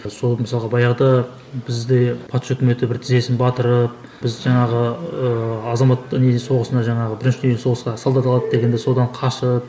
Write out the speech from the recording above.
сол мысалға баяғыда бізде патша өкіметі бір тізесін батырып біз жаңағы ыыы азамат не соғысына жаңағы бірінші дүниежүзілік соғысқа солдат алады дегенде содан қашып